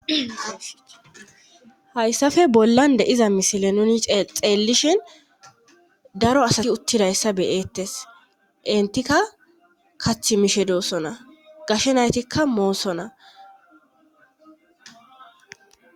hayssafe bollan de iza misile nuni xeellishin daro asati uttidayssa beyettes entikka kachch mishedoossona gashenaytikka moosona